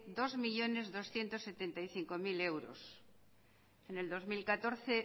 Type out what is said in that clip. dos millónes doscientos setenta y cinco mil euros en el dos mil catorce